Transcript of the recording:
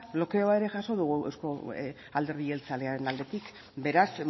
blokeoa ere jaso dugu euzko alderdi jeltzalearen aldetik beraz